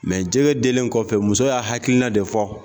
jɛgɛ dilen kɔfɛ muso y'a hakilina de fɔ